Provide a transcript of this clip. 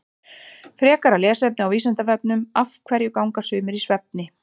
Frekara lesefni á Vísindavefnum Af hverju ganga sumir í svefni?